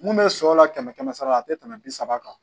Mun bɛ shɔ la kɛmɛ kɛmɛ sara la a tɛ tɛmɛ bi saba kan